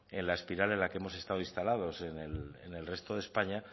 en la espiral en la que hemos estado instalados en el resto de españa